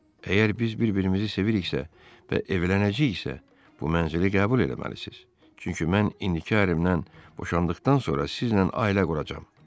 Əgər biz bir-birimizi seviriksə və evlənəcəyiksə, bu mənzili qəbul eləməlisiz, çünki mən indiki ərimdən boşandıqdan sonra sizlə ailə quracam.